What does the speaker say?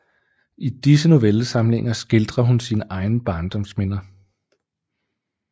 I disse Novellesamlinger skildrer hun sine egne Barndomsminder